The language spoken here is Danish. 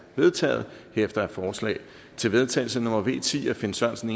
vedtaget herefter er forslag til vedtagelse nummer v ti af finn sørensen